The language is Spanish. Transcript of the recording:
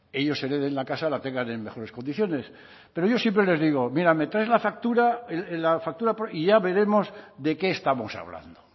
ellos hereden la casa la tengan en mejores condiciones pero yo siempre les digo mira me traes la factura y ya veremos de qué estamos hablando